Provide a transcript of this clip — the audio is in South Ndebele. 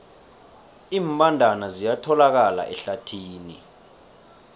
iimbandana ziyatholakala ehlathini